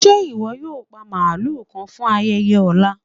Ṣẹ́ iwọ yóò pa màlú kàn fún ayẹyẹ ọlá?